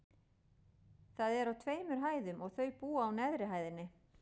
Það er á tveimur hæðum, og þau búa á neðri hæðinni.